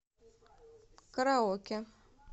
караоке